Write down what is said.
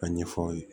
A ɲɛfɔ aw ye